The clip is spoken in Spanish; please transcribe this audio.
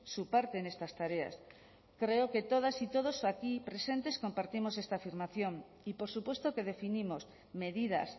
su parte en estas tareas creo que todas y todos aquí presentes compartimos esta afirmación y por supuesto que definimos medidas